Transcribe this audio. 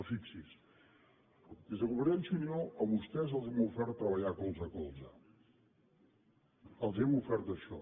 però fixi’s des de convergència i unió a vostès els hem ofert treballar colze a colze els hem ofert això